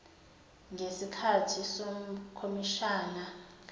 ngesikahthi sekhomishani kaleon